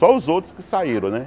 Só os outros que saíram, né?